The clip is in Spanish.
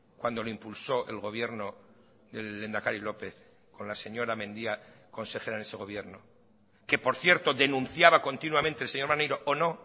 cuando lo impulsó el gobierno del lehendakari lópez con la señora mendia consejera en ese gobierno que por cierto denunciaba continuamente el señor maneiro o no